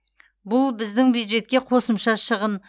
бұл біздің бюджетке қосымша шығын